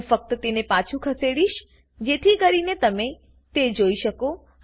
હું ફક્ત તેને પાછું ખસેડીશ જેથી કરીને તમે તે જોઈ શકો